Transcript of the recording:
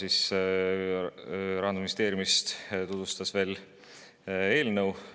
Kertu Fedotov Rahandusministeeriumist tutvustas veel kord eelnõu.